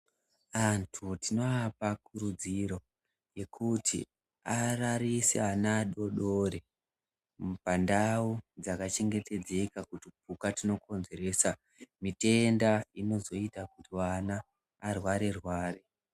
Antu tinoapa kurudziro yekuti ararise ana adoodori pandau dzaka chengetedzeka kutupuka tunokonzeresa mitenda inozoite kuti vana varware-rware.